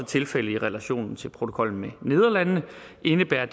tilfældet i relation til protokollen med nederlandene indebærer